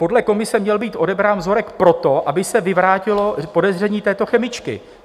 Podle komise měl být odebrán vzorek proto, aby se vyvrátilo podezření této chemičky.